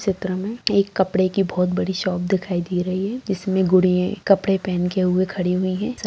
चित्र में एक कपड़े की बहुत बड़ी शॉप दिखाई दे रही हैं इसमें गुड़िए कपड़े पहन के हुए खड़े हुए है स --